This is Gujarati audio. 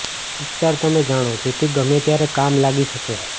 ઉપચાર તમે જાણો જેથી ગમે ત્યારે કામ લાગી શકે